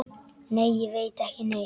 Nei, ég veit ekki neitt.